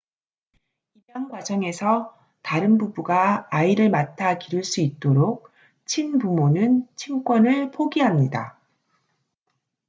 입양 과정에서 다른 부부가 아이를 맡아 기를 수 있도록 친부모는 친권을 포기합니다